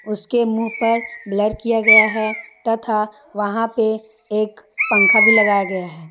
उसके मुंह पर ब्लर किया गया है तथा वहां पे एक पंखा भी लगाया गया है।